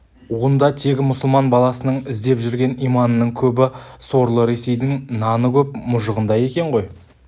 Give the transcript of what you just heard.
онда тегі мұсылман баласының іздеп жүрген иманының көбі сорлы ресейдің наны көп мұжығында екен ғой